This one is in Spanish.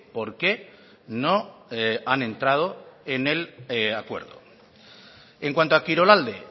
por qué no han entrado en el acuerdo en cuanto a kirolalde